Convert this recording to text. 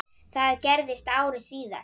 Það gerðist ári síðar.